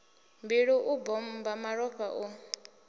mbilu u bommba malofha hu